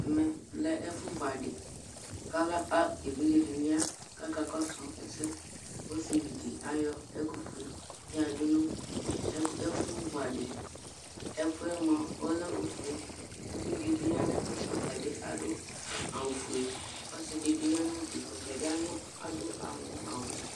ɛmɛ lɛ ɛfu vu adi kò evidze dini ya k'aka kɔsu ɛsɛ ɔsivi di ayɔ ɛkufue yado no ɛfu vu adiɛ ɛkuɛ moa ɔlɛ ofue uvi di bi ya n'ɛfɛ ɔtabi ado awu fue ɔse di bi ya n'udue ɔtabi ado aŋɔ awu